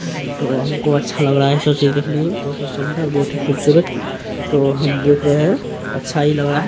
तो हमको अच्छा लग रहा है उ सब चीज़ देखने मे बहुत ही सुन्दर बहुत ही खूबसूरत तो हम देख रहे हैअच्छा ही लग रहा है ।